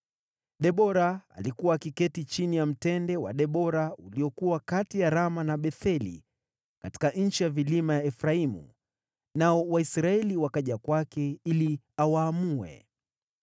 Debora alikuwa akiketi chini ya Mtende wa Debora uliokuwa kati ya Rama na Betheli katika nchi ya vilima ya Efraimu, nao Waisraeli wakaja kwake ili awaamue.